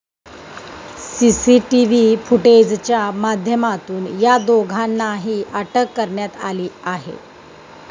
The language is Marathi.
सीसीटीव्ही फुटेजच्या माध्यमातून या दोघांनाही अटक करण्यात आली आहे.